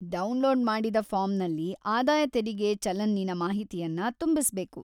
Download ಮಾಡಿದ ಫಾರ್ಮ್‌ನಲ್ಲಿ ಆದಾಯ ತೆರಿಗೆ ಚಲನ್ನಿನ ಮಾಹಿತಿಯನ್ನ ತುಂಬಿಸ್ಬೇಕು.